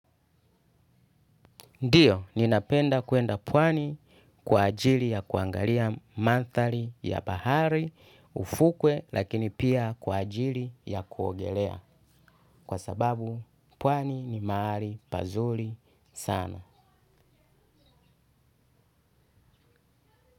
Ndiyo, ninapenda kuenda pwani kwa ajili ya kuangalia mandhari ya bahari, ufukwe lakini pia kwa ajili ya kuogelea kwa sababu pwani ni mahali pazuli sana.